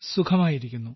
സുഖമായിരിക്കുന്നു